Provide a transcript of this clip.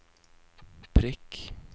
prikk